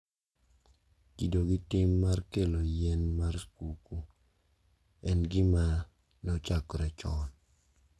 Kido gi tim mar kelo yien mar skuku en gima ne ochakre chon